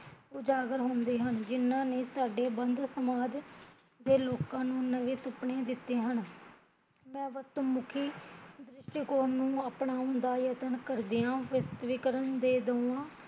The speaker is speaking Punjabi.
ਉਜਾਗਰ ਹੁੰਦੇ ਹਨ, ਜਿਹਨਾਂ ਨੇ ਸਾਡੇ ਵੰਦ ਸਮਾਜ ਦੇ ਲੋਕਾਂ ਨੂ ਨਵੇ ਸੁਪਨੇ ਦਿੱਤੇ ਹਨ ਤੇ ਮੁਖੀ ਦ੍ਰਿਸ਼ਟੀਕੋਣ ਨੂੰ ਅਪਨਾਉਣ ਦਾ ਯਤਨ ਕਰਦਿਆ ਵਿਸਵਤੀਕਰਨ ਦੇ ਦੋਹਾਂ